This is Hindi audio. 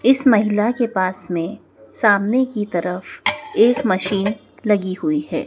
इस महिला के पास में सामने की तरफ एक मशीन लगी हुई है।